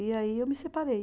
E aí eu me separei.